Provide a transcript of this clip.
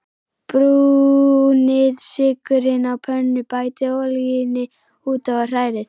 Brúnið sykurinn á pönnu, bætið olíunni út í og hrærið.